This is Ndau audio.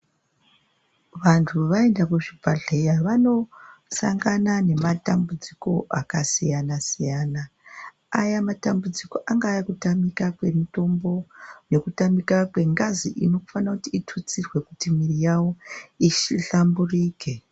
Vantu vaenda kuzvibhedhlera vanosangana nematambudziko akasiyana siyana. Aya matambudziko angaa ekutamika kwemitombo, ekutamika kwengazi inofanire kuti itutsirwe kuti mwiri yavo ihlamburike